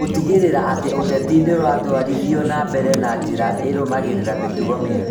gũtigĩrĩra atĩ ũtetĩ nĩwatwarithio na mbere na njĩra ĩrarũmĩrĩra mĩtugo mĩega